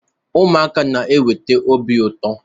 Ụmụaka na-eweta obi ụtọ